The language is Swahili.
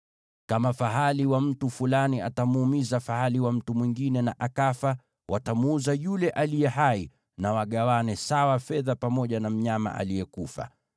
“Kama fahali wa mtu fulani atamuumiza fahali wa mtu mwingine na akafa, watamuuza yule aliye hai na wagawane sawa fedha pamoja na mnyama aliyekufa.